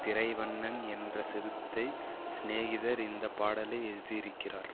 திரைவண்ணன் என்ற சிறுத்தை சிநேகிதர் இந்த பாடலை எழுதியிருக்கிறார்